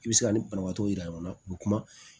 I bɛ se ka nin banabaatɔ yira ɲɔgɔnna k'u kuma